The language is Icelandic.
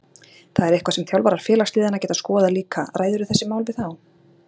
Það er eitthvað sem þjálfarar félagsliðanna geta skoðað líka Ræðirðu þessi mál við þá?